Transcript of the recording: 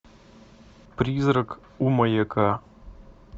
призрак у маяка